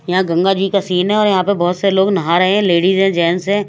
यहां गंगा जी का सीन है और यहां पे बहुत सारे लोग नहा रहे हैं लेडीज़ हैं जेन्ट्स हैं।